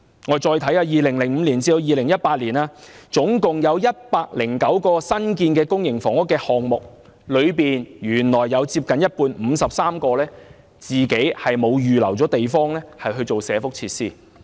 我們再看看 ，2005 年至2018年總共有109個新建的公營房屋項目，當中原來有接近一半沒有預留地方作社福設施。